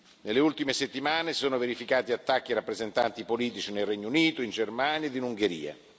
Nelle ultime settimane si sono verificati attacchi a rappresentanti politici nel Regno Unito, in Germania e in Ungheria.